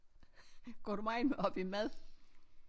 Går du megen op i mad?